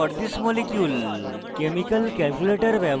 pubchem page for the molecule